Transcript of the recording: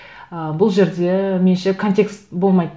ы бұл жерде меніңше контекст болмайды